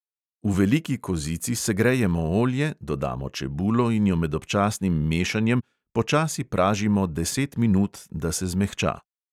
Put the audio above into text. V veliki kozici segrejemo olje, dodamo čebulo in jo med občasnim mešanjem počasi pražimo deset minut, da se zmehča.